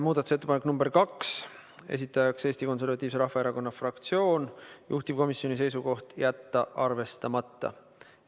Muudatusettepanek nr 2, esitajaks Eesti Konservatiivse Rahvaerakonna fraktsioon, juhtivkomisjoni seisukoht: jätta arvestamata.